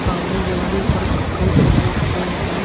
सामने जगली पर कपड़े टंगे हुए हैं।